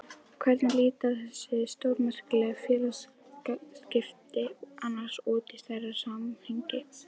Hvernig líta þessi stórmerkilegu félagsskipti annars út í stærra samhengi?